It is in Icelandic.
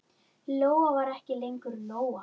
Lóa var ekki lengur Lóa.